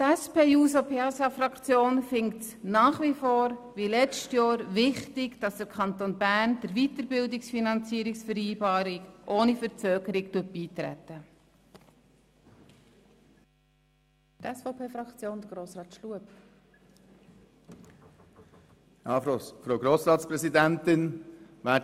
Die SPJUSO-PSA-Fraktion findet es nach wie vor – wie bereits im letzten Jahr – wichtig, dass der Kanton Bern der Weiterbildungsfinanzierungsvereinbarung ohne Verzögerungen beitritt.